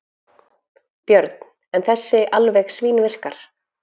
Björn: En þessi alveg svínvirkar?